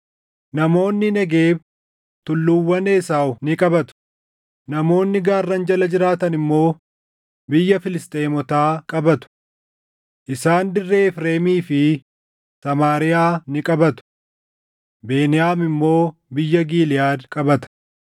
Namoonni Negeeb tulluuwwan Esaaw ni qabatu; namoonni gaarran jala jiraatan immoo biyya Filisxeemotaa qabatu. Isaan dirree Efreemii fi Samaariyaa ni qabatu; Beniyaam immoo biyya Giliʼaad qabata.